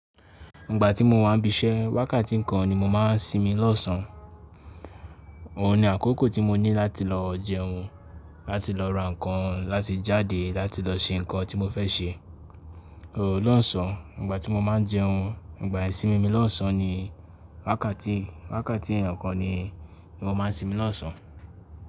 Ìgbà tí mo wà ń bisẹ́, wákàtí kan ni mo máa ń sinmi lọ́sàn. Òun ni àkókò tí mo ní láti lọ jẹun, láti lọ ra nǹkan, láti jáde, láti lọ se nǹkan tí mo fẹ́ ṣe. So lọ́sàn, ìgbà tí mo máa ń jẹun, ìgbà isimi mi lọ́sàn ni wákàtí, wákàtí ikan ni mo máa ń sinmi lọ́sàn.